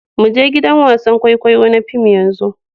Mu je gidan wasan kwaikwayo na fim yanzu.